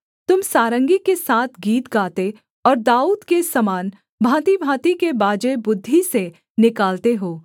तुम सारंगी के साथ गीत गाते और दाऊद के समान भाँतिभाँति के बाजे बुद्धि से निकालते हो